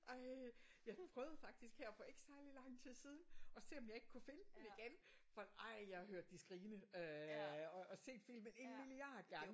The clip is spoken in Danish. Ej jeg prøvede faktisk her for ikke særligt lang tid siden at se om jeg ikke kunne finde den igen. For ej jeg har hørt de skrigende øh og set filmen en milliard gange